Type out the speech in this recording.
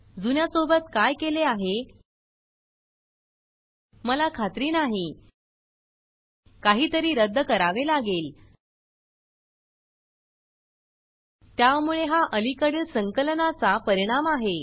जुन्या सोबत काय केले आहे मला खात्री नाही काही तरी रद्द करावे लागेल त्यामुळे हा अलीकडील संकलनाचा परिणाम आहे